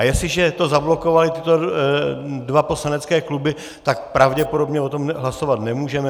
A jestliže to zablokovaly tyto dva poslanecké kluby, tak pravděpodobně o tom hlasovat nemůžeme.